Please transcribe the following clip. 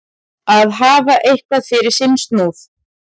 Að hafa eitthvað fyrir sinn snúð